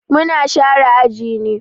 Mu na share aji ne.